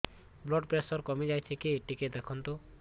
blood pressure କମି ଯାଉଛି କି ଟିକେ ଦେଖନ୍ତୁ